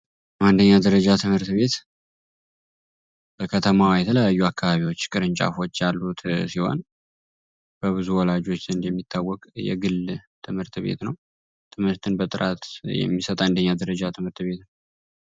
አንደኛ ደረጃ ትምህርት ቤት በከተማዋ የተለያዩ አካባቢዎች ቅርንጫፎች ያሉት በብዙ ወላጆች እንደሚታወቅ የግል ትምህርት ቤት ነው ትምህርትን በጥራት የሚሰጥ የአንደኛ ደረጃ ትምህርት ቤት ነው።